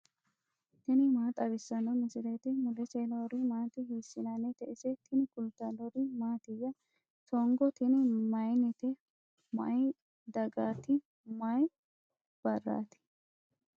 tini maa xawissanno misileeti ? mulese noori maati ? hiissinannite ise ? tini kultannori mattiya? Songo tinni mayiinnite? Mayi dagaatti? Mayi baarratti?